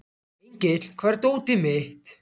Engill, hvar er dótið mitt?